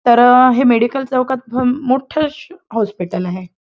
तर हे मेडिकल चौकात मोठ शो हॉस्पिटल आहे.